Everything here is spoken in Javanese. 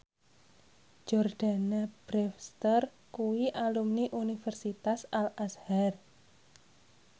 Jordana Brewster kuwi alumni Universitas Al Azhar